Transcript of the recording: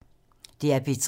DR P3